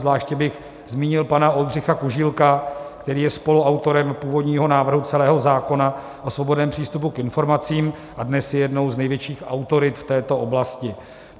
Zvláště bych zmínil pana Oldřicha Kužílka, který je spoluautorem původního návrhu celého zákona o svobodném přístupu k informacím a dnes je jednou z největších autorit v této oblasti.